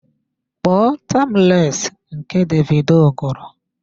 Kpọọ timeless nke Davido gụrụ!